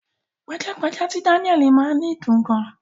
Pajápajá ti Daniel máa ni dùn gan.